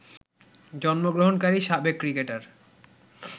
জন্মগ্রহণকারী সাবেক ক্রিকেটার